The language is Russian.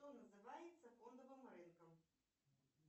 что называется фондовым рынком